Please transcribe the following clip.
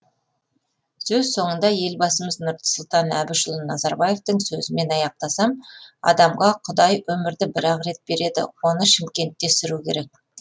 сөз соңында елбасымыз нұрсұлтан әбішұлы назарбаевтың сөзімен аяқтасам адамға құдай өмірді бір ақ рет береді оны шымкентте сүру керек